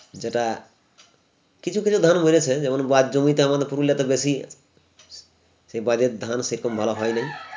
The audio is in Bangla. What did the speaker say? যেটা কিছু কিছু ধান মরেছে যেমন বাঁধ জমিতে আমাদের পুরুলিয়াতে বেশি সে বাঁধের ধান সেরকম ভালো হয়নি